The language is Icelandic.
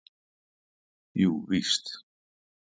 Jú víst!